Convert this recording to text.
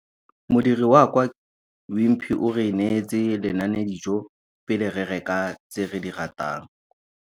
Modiri wa kwa Wimpy o re neetse lenanedijô pele re reka tse re di ratang.